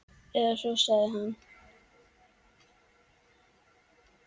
Eða svo sagði hann.